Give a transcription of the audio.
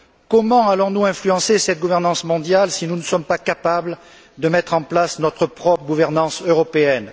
Comment allons nous influencer cette gouvernance mondiale si nous ne sommes pas capables de mettre en place notre propre gouvernance européenne?